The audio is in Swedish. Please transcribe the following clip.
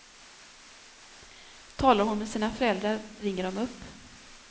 Talar hon med sina föräldrar ringer de upp.